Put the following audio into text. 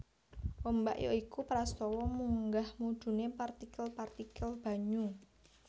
Ombak ya iku prastawa munggah mudhuné partikel partikel banyu